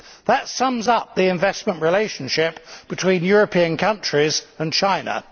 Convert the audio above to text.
That sums up the investment relationship between European countries and China.